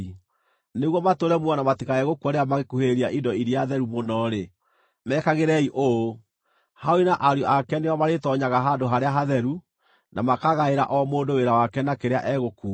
Nĩguo matũũre muoyo na matikae gũkua rĩrĩa mangĩkuhĩrĩria indo iria theru mũno-rĩ, mekagĩrei ũũ: Harũni na ariũ ake nĩo marĩtoonyaga handũ harĩa hatheru, na makagaĩra o mũndũ wĩra wake na kĩrĩa egũkuua.